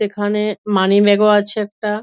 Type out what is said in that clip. সেখানেএএ money bag -ও আছে একটা |